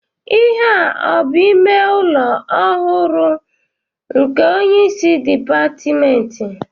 Ihea abụ ime ụlọ ọrụ ọhụrụ nke onyeisi dịpatmentị?